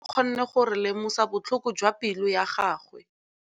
Lentswe la maikutlo a Thategô le kgonne gore re lemosa botlhoko jwa pelô ya gagwe.